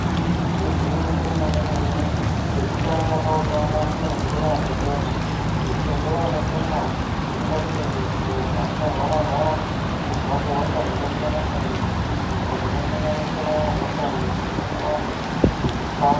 Igwinyiso remenemene chekutanga pautano kumwa mvura yakachena nekuti mvura yakachena inoita kuti munthu asarwara rwara kubva kuhosha dzakasiyana siyana hosha dzinosanganisira hosha yemundani nekuchaya.